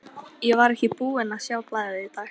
Hann slokrar í sig úr glasinu.